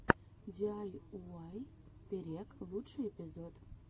диайуай перек лучший эпизод